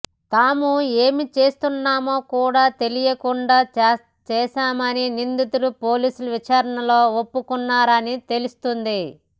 తాము ఏం చేస్తున్నామో కూడ తెలియకుండా చేశామని నిందితులు పోలీసుల విచారణలో ఒప్పుకొన్నారని తెలుస్తోంది